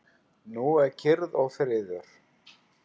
Nú er kyrrð og friður.